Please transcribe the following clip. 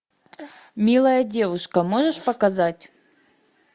милая девушка можешь показать